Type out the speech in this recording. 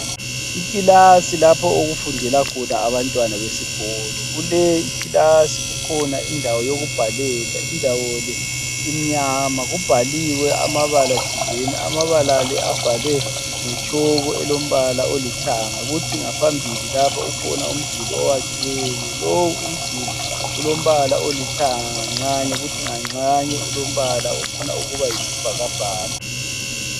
Ikilasi lapho okufundela khona abantwana besikolo. Kuleyikilasi kukhona indawo yokubhalela. Indawo le imnyama. Kubhaliwe amabala thizeni. Amabala la abhalwe ngetshoko elombala olithanga. Kuthi ngaphambili lapha kukhona umduli owakhiweyo. Lowo umduli ulombala olithanga nganxanye kuthi nganxanye ulombala ofuna ukuba yisibhakabhaka.